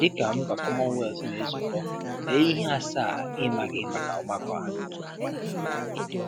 Dịka mba Commonwealth na-ezukọ, lee ihe asaa ị maghị maka ọgbakọ a